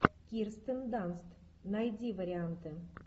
кирстен данст найди варианты